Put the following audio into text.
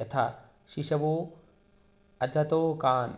यथा शिशवोऽजतोकान्